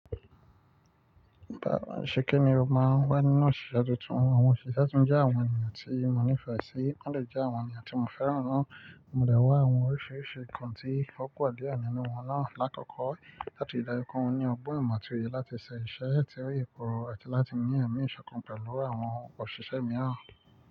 Bàwọn ìṣekẹ́ni mo ma ń wá nínú òṣìṣẹ́ àti tún àwọn òṣìṣẹ́ jẹ́ àwọn ènìyàn tí mo nífẹ̀ẹ́ sí, wọ́n dẹ̀ jẹ́ àwọn ènìyàn tí mo fẹ́ràn náà. Mo dẹ̀ n wá àwọn oríṣiríṣi nǹkan tí ó pọ̀ pọ̀ díẹ̀ nínú wọn náà. Lákòkò láti kó wọn ní ọgbọ́n ìmọ̀ àti òye láti ṣe iṣẹ́ láti rayé kọ àti láti ní ẹ̀mí ìsọ̀kan pẹ̀lú àwọn òṣìṣẹ́ mìíràn.